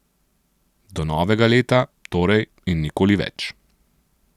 Do novega leta, torej, in nikoli več.